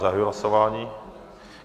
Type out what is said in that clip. Zahajuji hlasování.